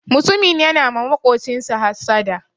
Mutumin yana ma maƙocinshi hassada.